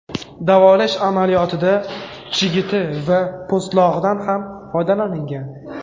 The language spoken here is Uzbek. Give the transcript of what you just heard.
Davolash amaliyotida chigiti va po‘stlog‘idan ham foydalanilgan.